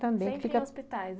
Também fica. Sempre em hospitais?